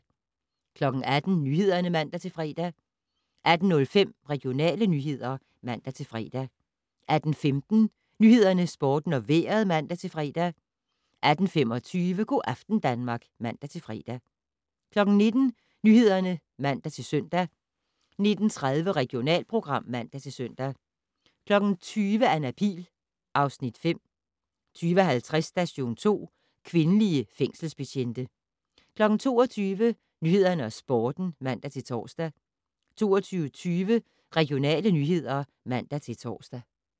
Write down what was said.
18:00: Nyhederne (man-fre) 18:05: Regionale nyheder (man-fre) 18:15: Nyhederne, Sporten og Vejret (man-fre) 18:25: Go' aften Danmark (man-fre) 19:00: Nyhederne (man-søn) 19:30: Regionalprogram (man-søn) 20:00: Anna Pihl (Afs. 5) 20:50: Station 2: Kvindelige fængselsbetjente 22:00: Nyhederne og Sporten (man-tor) 22:20: Regionale nyheder (man-tor)